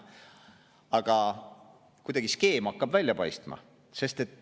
Aga kuidagi teatud skeem hakkab välja paistma.